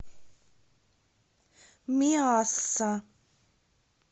миасса